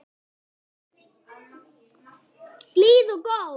Blíð og góð.